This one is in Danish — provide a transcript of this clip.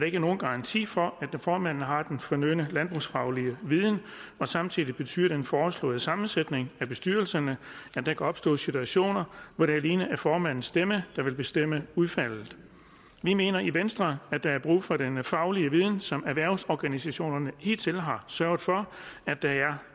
ikke nogen garanti for at formanden har den fornødne landbrugsfaglige viden og samtidig betyder den foreslåede sammensætning af bestyrelserne at der kan opstå situationer hvor det alene er formandens stemme der vil bestemme udfaldet vi mener i venstre at der er brug for den faglige viden som erhvervsorganisationerne hidtil har sørget for at der er